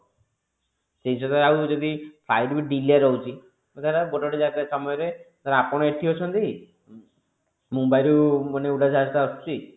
ସେଇ ସବୁ ଜିନିଷରେ ଆଉ ଯଦି flight ବି delay ରହୁଛି ଧର ଗୋଟେ ଗୋଟେ ସମୟରେ ଧର ଆପଣ ଏଠି ଅଛନ୍ତି mumbai ରୁ ମାନେ ଉଡାଜାହାଜ ଟା ଆସୁଛି